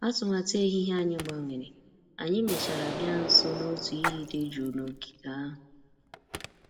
Atụmatụ ehihie anyị gbanwere, anyị mèchàrà bịa nso n'otu iyi dị jụụ n'ogige ahụ